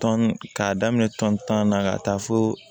k'a daminɛ tɔn tan na ka taa fo